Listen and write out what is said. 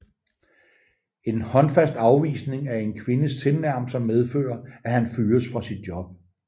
En håndfast afvisning af en kvindes tilnærmelser medfører at han fyres fra sit job